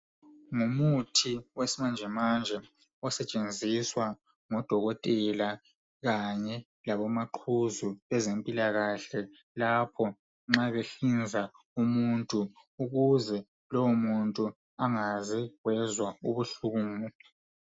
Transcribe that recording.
Ngumuthi wesimanje manje esetshenziswa ngodokotela kanye labo maqhuzu bezempilakahle lapho nxa behlinza umuntu ukuze lowo muntu engaze wezwa ubuhlungu.